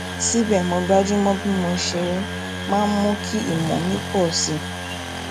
síbè mo gbájú mó bí mo um ṣe máa mú kí ìmọ mi pọ um sí i